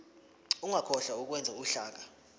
ungakhohlwa ukwenza uhlaka